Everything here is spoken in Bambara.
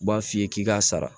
U b'a f'i ye k'i k'a sara